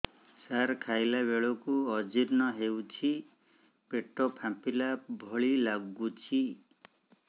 ସାର ଖାଇଲା ବେଳକୁ ଅଜିର୍ଣ ହେଉଛି ପେଟ ଫାମ୍ପିଲା ଭଳି ଲଗୁଛି